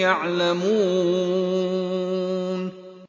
يَعْلَمُونَ